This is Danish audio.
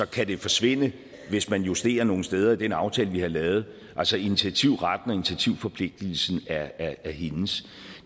kan det forsvinde hvis man justerer nogle steder i den aftale vi har lavet altså initiativretten og initiativforpligtelsen er er hendes